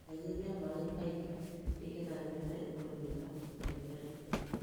ĩtagĩrĩrĩa maĩ kaĩngĩ nĩgetha mĩmera ĩkũre wega na ĩrĩ na hĩnya